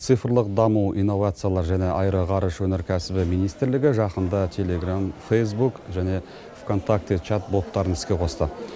цифрлық даму иновациялар және аэроғарыш өнеркәсібі министрлігі жақында телеграмм фейсбук және вконтакте чатботтарын іске қосты